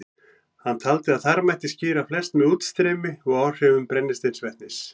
Hann taldi að þar mætti skýra flest með útstreymi og áhrifum brennisteinsvetnis.